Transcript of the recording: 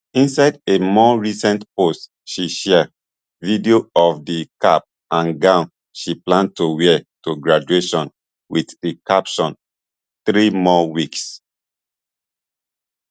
inside a more recent post she share video of di cap and gown she plan to wear to graduation with di caption three more weeks